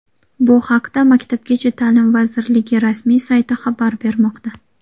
Bu haqda Maktabgacha ta’lim vazirligi rasmiy sayti xabar bermoqda .